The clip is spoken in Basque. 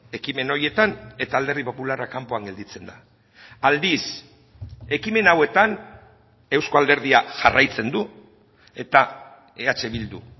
ekimen horietan eta alderdi popularra kanpoan gelditzen da aldiz ekimen hauetan euzko alderdia jarraitzen du eta eh bildu